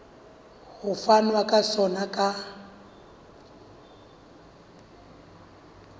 ho fanwa ka sona ka